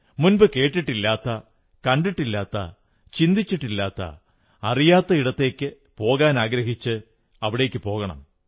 മുമ്പു കേട്ടിട്ടില്ലാത്ത കണ്ടിട്ടില്ലാത്ത ചിന്തിച്ചിട്ടില്ലാത്ത അറിയാത്ത ഇടത്തേക്കു പോകാനാഗ്രഹിച്ച് അവിടേക്കു പോകണം